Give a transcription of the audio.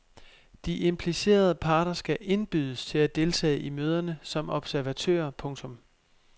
De implicerede parter skal indbydes til at deltage i møderne som observatører. punktum